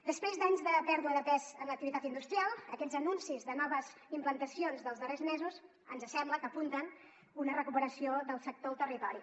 després d’anys de pèrdua de pes en l’activitat industrial aquests anuncis de noves implantacions dels darrers mesos ens sembla que apunten a una recuperació del sector al territori